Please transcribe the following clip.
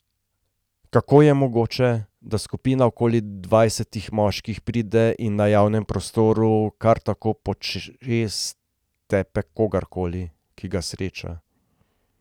Kako je mogoče, da skupina okoli dvajsetih moških pride in na javnem prostoru kar tako počez tepe kogarkoli, ki ga sreča?